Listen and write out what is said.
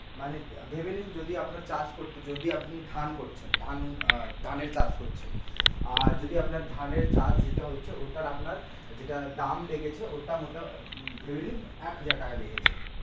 মানে ধরুন আপনি চাষ করছেন যদি আপনি ধান করছেন ধান আহ ধানের কাজ করছেন আহ যদি আপনার ধানের কাজ যেটা হচ্ছে ওইটা আপনার যেটা দাম লেগেছে ধরে নিন এক হাজার টাকা লেগেছে